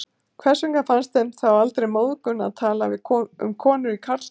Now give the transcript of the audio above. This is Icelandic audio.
Hvers vegna fannst þeim þá aldrei móðgun að tala um konur í karlkyni?